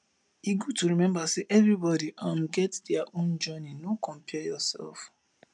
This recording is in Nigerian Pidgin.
e good to remember sey everybody um get dia own journey no compare yourself